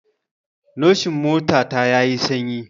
Nation mota ta ya yi sanyi